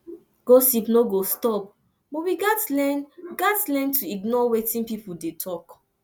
gossip no go stop but we gats learn gats learn to ignore wetin pipo dey talk